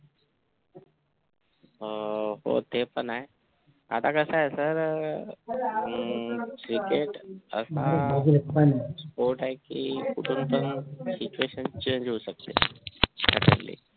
अं ते पण आहे आता कास आहे sir cricket हा असा sport आहे कि कुठून पण situation change होऊ शकते